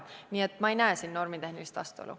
Nii et ma ei näe siin normitehnilist vastuolu.